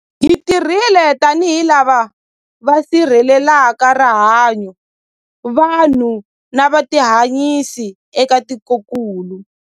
Hi tirhile tanihi lava va sirhelelaka rihanyu, vanhu na vutihanyisi eka tikokulu.